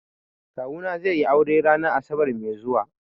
Kawuna zai yi aure ranar asabar mai zuwa.